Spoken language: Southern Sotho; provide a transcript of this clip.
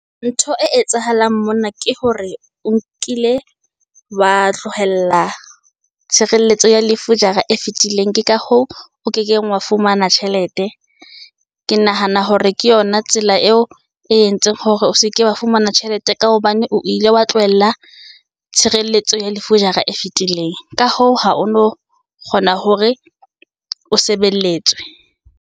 Ntho e etsahalang mona ke hore o nkile wa tlohella tshireletso ya lefu jara e fetileng ke ka hoo o kekeng wa fumana tjhelete. Ke nahana hore ke yona ena tsela eo e entseng hore o seke wa fumana tjhelete. Ka hobane o ile wa tlohella tshireletso ya lefu jara e fitileng. Ka hoo ha o no kgona hore o sebeletswe.